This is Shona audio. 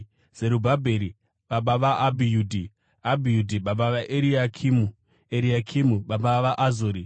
Zerubhabheri baba vaAbhiudhi, Abhiudhi baba vaEriakimu, Eriakimu baba vaAzori.